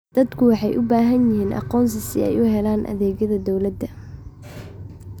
Dadku waxay u baahan yihiin aqoonsi si ay u helaan adeegyada dawladda.